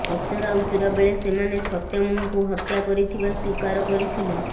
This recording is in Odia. ପଚରାଉଚରା ବେଳେ ସେମାନେ ସତ୍ୟମ୍ଙ୍କୁ ହତ୍ୟା କରିଥିବା ସ୍ୱୀକାର କରିଥିଲେ